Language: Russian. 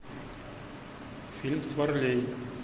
фильм с варлей